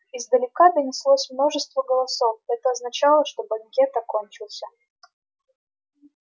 издалека донеслось множество голосов это означало что банкет окончился